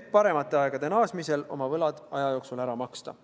et paremate aegade naasmisel oma võlad ära maksta.